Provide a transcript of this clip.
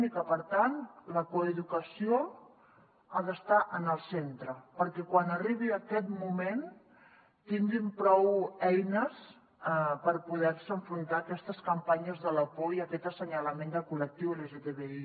i per tant la coeducació ha d’estar en el centre perquè quan arribi aquest moment tinguin prou eines per poder se enfrontar a aquestes campanyes de la por i a aquest assenyalament del col·lectiu lgtbi